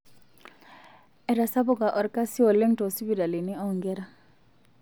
Etasapuka olkasi oleng' toosipitalini oonkera.